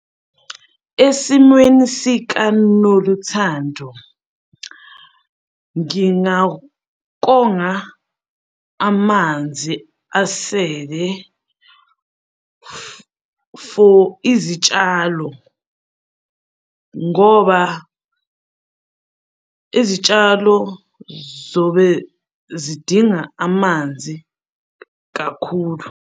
Esimweni sikaNoluthando, ngingakonga amanzi asele for izitshalo ngoba izitshalo zobe zidinga amanzi kakhulu.